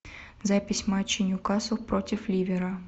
запись матча ньюкасл против ливера